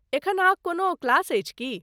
एखन अहाँक कोनो क्लास अछि की?